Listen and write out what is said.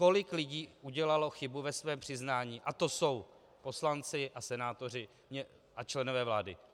Kolik lidí udělalo chybu ve svém přiznání a to jsou poslanci a senátoři a členové vlády.